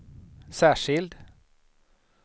särskild